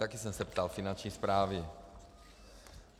Taky jsem se ptal Finanční správy.